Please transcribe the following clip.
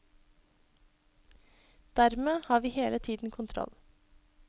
Dermed har vi hele tiden kontroll.